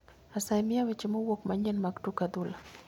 Asayi miya weche mowuok manyien mag tuk adhula